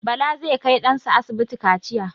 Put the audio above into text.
Bala zai kai ɗan sa asibiti kaciya.